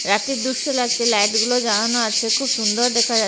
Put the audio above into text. রাত্যে দুস্য লাগছে লাইট গুলো জ্বালানো আছে খুব সুন্দর দেখা যাচ্ছে।